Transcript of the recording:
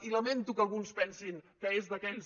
i lamento que alguns pensin que és d’aquells